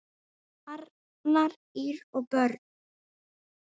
Arnar, Ýr og börn.